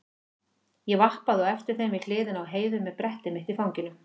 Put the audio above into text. Ég vappaði á eftir þeim við hliðina á Heiðu með brettið mitt í fanginu.